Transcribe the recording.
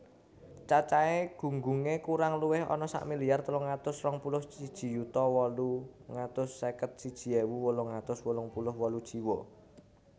Cacahé gunggungé kurang luwih ana sak miliar telung atus rong puluh siji yuta wolung atus seket siji ewu wolung atus wolung puluh wolu jiwa